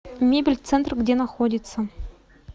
мебель центр где находится